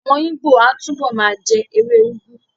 Àwọn Ìgbó á túbọ̀ ma jẹ́ ewé úgú